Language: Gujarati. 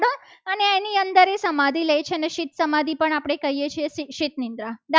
સમાધિ લે છે. અને શીલ સમાધિ પણ કહીએ છીએ. આપણે શીત નિંદ્રા